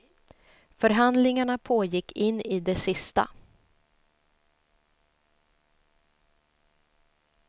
Förhandlingarna pågick in i det sista.